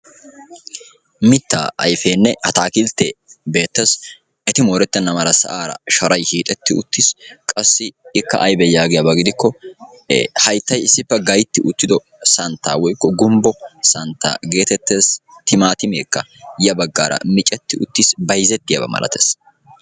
Mitta ayfenne attakkiltte beetees. Eti moorettena mala sa'ara sharay hiixxetti uttiis. Qassi ikka aybee yagiyaba gidiko ee hayttay issipe gaytti uttido saantta woykko gumbbo saantta geetetes. Timaatimeeka ya baggara micceti uttis. Bayzzettiyaba milaatees.